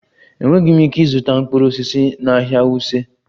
Enweghị m ike ịzụta mkpụrụ osisi na ahịa wuse